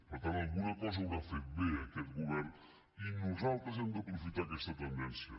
per tant alguna cosa deu haver fet bé aquest govern i nosaltres hem d’aprofitar aquesta tendència